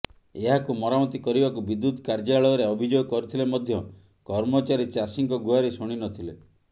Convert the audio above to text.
ଏହାକୁ ମରାମତି କରିବାକୁ ବିଦ୍ୟୁତ କାର୍ୟ୍ୟାଳୟରେ ଅଭିଯୋଗ କରିଥିଲେ ମଧ୍ୟ କର୍ମଚାରୀ ଚାଷୀଙ୍କ ଗୁହାରୀ ଶୁଣି ନଥିଲେ